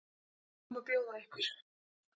Hvað má bjóða ykkur?